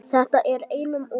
Þetta er einum of,